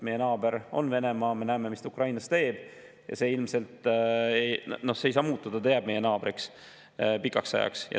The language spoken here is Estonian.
Meie naaber on Venemaa, me näeme, mis ta Ukrainas teeb, ja see ilmselt ei saa muutuda, sest jääb meie naabriks pikaks ajaks.